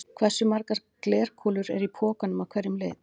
Hversu margar glerkúlur eru í pokanum af hverjum lit?